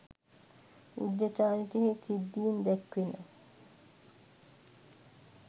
බුද්ධ චරිතයෙහි සිද්ධීන් දැක්වෙන